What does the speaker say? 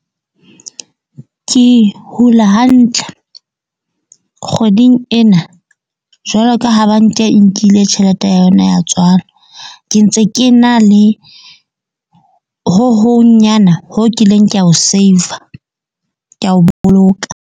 Ke hula hantle kgweding ena. Jwalo ka ha bank-a e nkile tjhelete ya yona ya tswala. Ke ntse ke na le ho hong nyana ho kileng ka ho saver ka o boloka.